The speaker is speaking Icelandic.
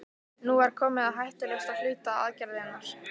Nú var komið að hættulegasta hluta aðgerðarinnar.